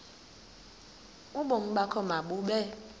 ubomi bakho mabube